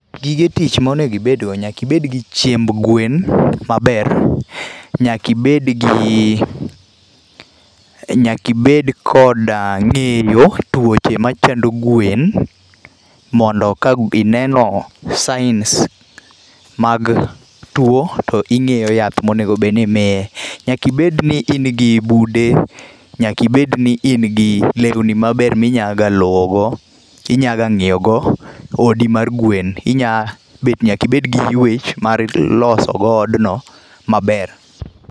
Gige tich maonego ibedgo, nyaka ibedgi chiemb gwen maber, nyakibedgi, nyaka ibed kod ngéyo twoche machango gwen, mondo ka ineno signs mag twoo to ingéyo yath ma onego bed ni imiye. Nyaka ibed ni in gi bude, nyaka ibed ni in gi lewni maber minyalo ga inyaga ngíyogo odi mar gwen. Inya bet, nyaka ibed gi ywech, mar loso go odno maber.